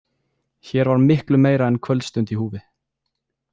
Hér var miklu meira en kvöldstund í húfi.